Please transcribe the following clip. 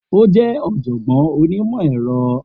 O jẹ oọ̀jọ̀gbọ́n onímọ̀ ẹ̀rọ